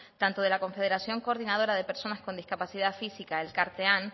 tanto de la confederación coordinadora de personas con discapacidad física elkartean